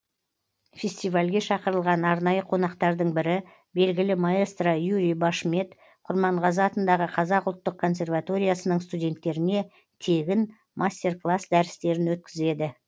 фестивальге шақырылған арнайы қонақтардың бірі белгілі маэстро юрий башмет құрманғазы атындағы қазақ ұлттық консерваториясының студенттеріне тегін мастер класс дәрістерін өткізеді